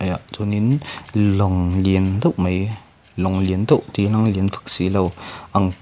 chuan in lawng lian deuh mai lawng deuh ti ilang lian vak si lo ang--